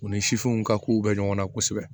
U ni sifinw ka kow bɛ ɲɔgɔn na kosɛbɛ